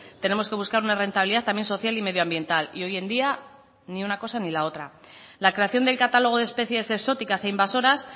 tenemos que buscar una rentabilidad también social y medioambiental y hoy en día ni una cosa ni la otra la creación del catálogo de especies exóticas e invasoras